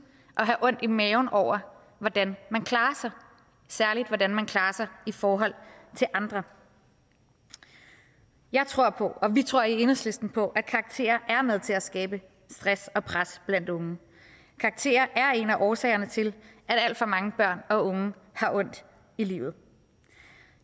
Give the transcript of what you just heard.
at have ondt i maven over hvordan man klarer sig særlig hvordan man klarer sig i forhold til andre jeg tror på og vi tror i enhedslisten på at karakterer er med til at skabe stress og pres blandt unge karakterer er en af årsagerne til at alt for mange børn og unge har ondt i livet